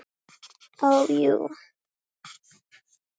Ó, jú.